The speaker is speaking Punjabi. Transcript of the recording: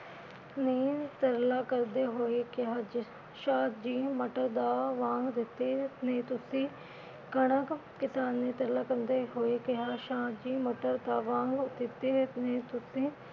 ਨੇ ਤਰਲਾ ਕਰਦੇ ਹੋਏ ਕਿਹਾ ਜੀ ਸ਼ਾਹ ਜੀ ਮਟਰ ਦਾ ਦਿੱਤੇ ਨਹੀ ਤੁਸੀਂ ਕਣਕ ਕਿਸਾਨ ਨੇ ਤਰਲਾ ਕਰਦੇ ਹੋਏ ਕਿਹਾ ਸ਼ਾਹ ਜੀ ਮਟਰ ਦਾ ਦਿਤੇ